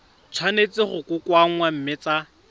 tshwanetse go kokoanngwa mme tsa